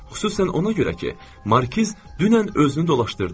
Xüsusən ona görə ki, Markiz dünən özünü dolaşdırdı.